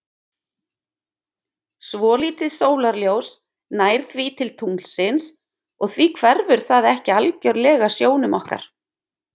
Svolítið sólarljós nær því til tunglsins og því hverfur það ekki algjörlega sjónum okkar.